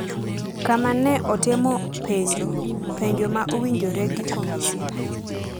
kama ne otemo penjo “penjo ma owinjore gi komisina.”